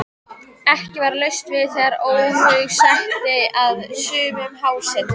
Ekki var laust við að óhug setti að sumum hásetunum.